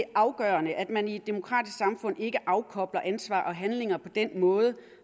afgørende at man i et demokratisk samfund ikke afkobler ansvar og handlinger på den måde